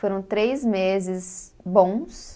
Foram três meses bons.